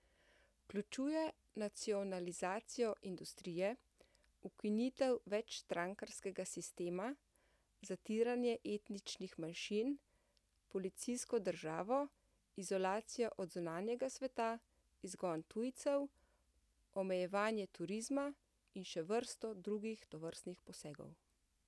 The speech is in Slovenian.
Vključuje nacionalizacijo industrije, ukinitev večstrankarskega sistema, zatiranje etničnih manjšin, policijsko državo, izolacijo od zunanjega sveta, izgon tujcev, omejevanje turizma in še vrsto drugih tovrstnih posegov.